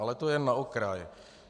Ale to jen na okraj.